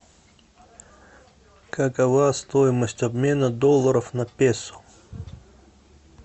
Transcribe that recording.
какова стоимость обмена долларов на песо